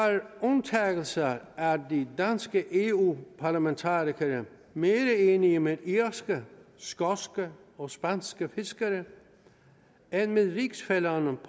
undtagelser er de danske eu parlamentarikere mere enige med irske skotske og spanske fiskere end med rigsfællerne